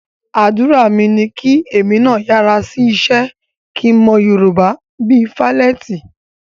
Àdúrà mi ni kí èmi náà yára sí iṣẹ́ kí n mọ Yorùbá bí i Fálétí